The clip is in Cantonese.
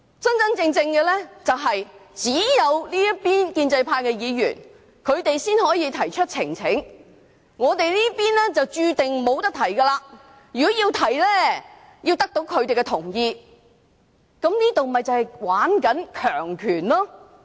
真實的情況是，只有建制派議員才能夠提交呈請書，我們這邊注定無法提交，如果要提交，必須得到他們的同意，這便是在玩弄權力。